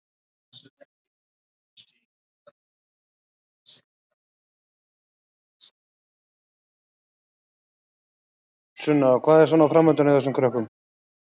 Sunna: Og hvað er svona framundan hjá þessum krökkum?